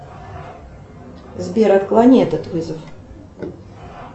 сбер отклони этот вызов